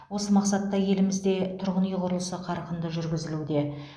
осы мақсатта елімізде тұрғын үй құрылысы қарқынды жүргізілуде